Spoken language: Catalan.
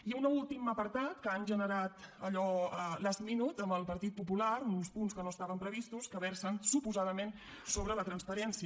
i un últim apartat que han generat allò last minute amb el partit popular uns punts que no estaven previstos que versen suposadament sobre la transparència